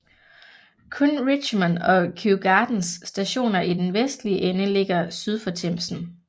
Kun Richmond og Kew Gardens Stationer i den vestlige ende ligger syd for Themsen